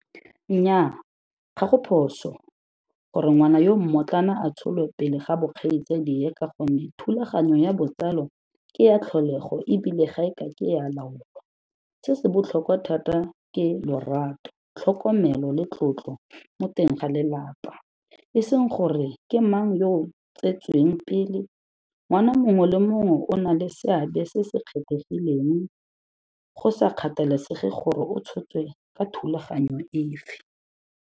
Nnyaa, ga go phoso gore ngwana yo mmotlana a tsholwe pele ga bokgaitsadie ka gonne thulaganyo ya botsalo ke ya tlholego e bile ga e ka ke ya laolwa. Se se botlhokwa thata ke lorato, tlhokomelo le tlotlo mo teng ga lelapa, e seng gore ke mang yo o tsetsweng pele. Ngwana mongwe le mongwe o na le seabe se se kgethegileng, go sa kgathalesege gore o tshotswe ka thulaganyo efe.